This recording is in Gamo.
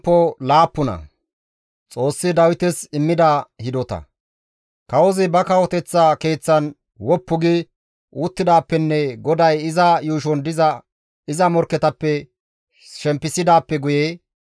Kawozi ba kawoteththa keeththan woppu gi uttidaappenne GODAY iza yuushon diza iza morkketappe shempisidaappe guye,